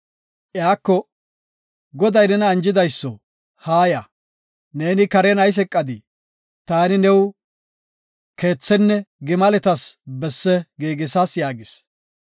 Iyako, “Goday nena anjidayso, haaya, neeni karen ayis eqadii? Taani new keethenne gimaletaska besse giigisas” yaagis.